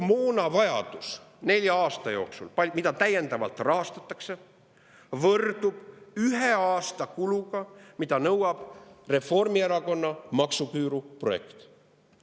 Nelja aasta kogu moonavajadus, mida täiendavalt rahastatakse, võrdub ühe aasta kulutustega Reformierakonna maksuküüruprojektile.